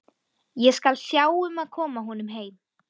Ég skal sjá um að koma honum heim.